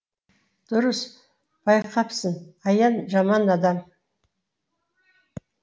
дұрыс байқапсың аян жаман адам